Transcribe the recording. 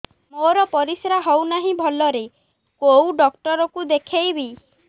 ମୋର ପରିଶ୍ରା ହଉନାହିଁ ଭଲରେ କୋଉ ଡକ୍ଟର କୁ ଦେଖେଇବି